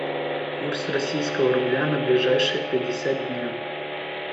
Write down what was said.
курс российского рубля на ближайшие пятьдесят дней